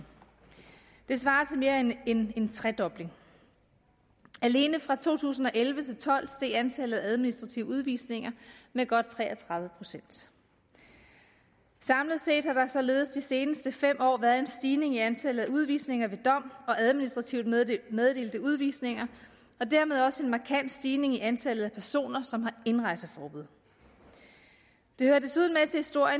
det svarer til mere end en tredobling alene fra to tusind og elleve til tolv steg antallet af administrative udvisninger med godt tre og tredive procent samlet set har der således de seneste fem år været en stigning i antallet af udvisninger ved dom og administrativt meddelte udvisninger og dermed også en markant stigning i antallet af personer som har indrejseforbud det hører desuden